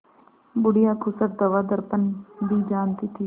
बुढ़िया खूसट दवादरपन भी जानती थी